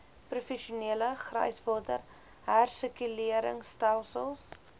professionele gryswater hersirkuleringstelsels